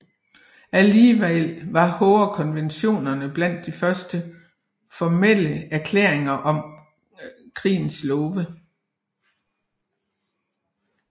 Alligevel var Haagerkonventionerne blandt de første formelle erklæringer om krigens love